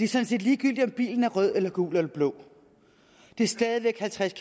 sådan set ligegyldigt om bilen er rød eller gul eller blå det er stadig væk halvtreds